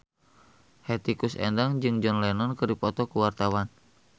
Hetty Koes Endang jeung John Lennon keur dipoto ku wartawan